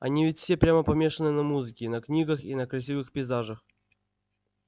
они ведь все прямо помешаны на музыке на книгах и на красивых пейзажах